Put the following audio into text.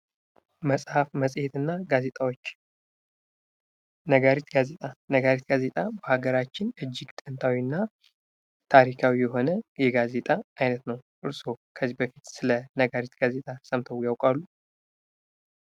መፅሀፍ፣ መፅሄትና ጋዜጣዎች፡-ነጋሪት ጋዜጣ በሀገራችን እጅግ ጥንታዊናታሪካዊ የሆነ የጋዜጣ አይነት ነው ።ከዚህ በፊት ስለ ነጋሪት ጋዜጣ ሰምተው ያውቃሉ?